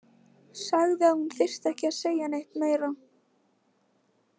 Sagði að hún þyrfti ekki að segja neitt meira.